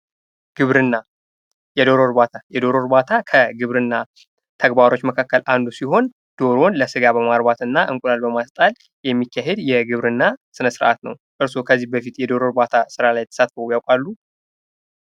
ግብርና የዶሮ እርባታ፡- የዶሮ እርባታ ከግብርና ስራዎች መካከል አንዱ ሲሆን ፤ ዶሮን ለስጋ በማርባትና እንቁላል በማስጣል የሚካሄድ የግብርና ስነ ስርዓት ነው። እርስዎ ከዚህ በፊት በዶሮ እርባታ ስራ ላይ ተሳትፈው ያውቃሉ?